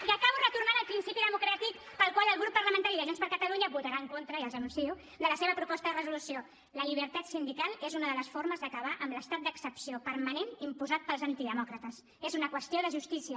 i acabo retornant al principi democràtic pel qual el grup parlamentari de junts per catalunya votarà en contra ja els ho anuncio de la seva proposta de resolució la llibertat sindical és una de les formes d’acabar amb l’estat d’excepció permanent imposat pels antidemòcrates és una qüestió de justícia